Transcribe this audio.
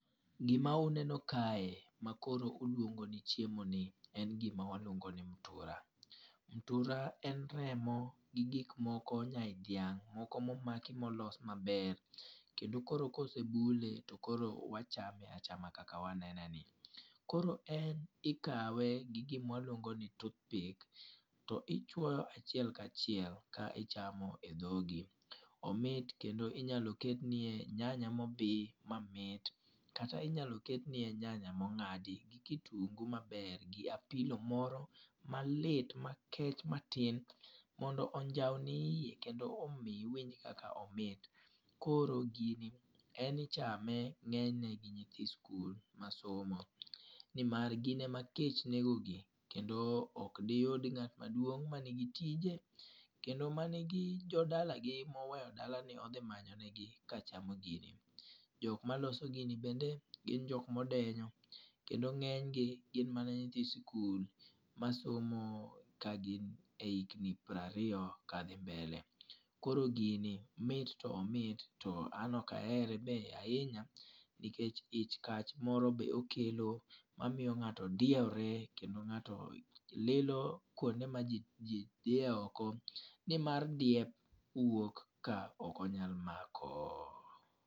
Gima uneno kae ma koro ulwongo ni chiemo ni, en gima walwongo ni mtura. Mtura en remo gi gik moko nyai dhiang'. Moko momaki molos maber. Kendo koro kosebule to koro wachame achame kaka wanenen ni. Koro en ikawe gi gima waluongo ni toothpick, to ichwoyo achiel ka achiel ka ichamo e dhogi. Omit kendo inyalo ketnie nyanya ma obi mamit kata inyalo ketnie nyanya ma ong'adi gi kitungu maber, gi apilo moro malit makech matin, mondo onjau ni iye kendo omi iwinj kaka omit. Koro gini en ichame ngényne gi nyithi sikul ma somo ni mar gine ma kech negogi kendo ok gi yud ngát maduong' ma nigi tije, kendo ma nigi jodalagi, moweyo dalane, odhi manyonegi, kachamo gini. Jok ma loso gini bende gin jok ma odenyo, kendo ngény gi gin mana nyithi sikul, ma somo ka gin e hikni piero ariyo ka dhi mbele. Koro gini, miti to omit to an ok ahere be ahinya nikech ich kach moro be okelo ma miyo ngáto diewore, kendo ngáto lilo kwonde ma ji ji dhie oko ni mar diep wok ka ok oyal mako.